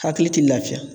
Hakili ti lafiya